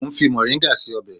Mo ń fi mọ̀ríngà ṣe ọbẹ̀